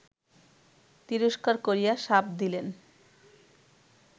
তিরস্কার করিয়া শাপ দিলেন